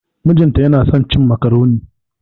Mijin ta yana son cin macaroni.